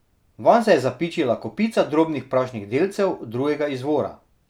Vanj se je zapičila kopica drobnih prašnih delcev drugega izvora.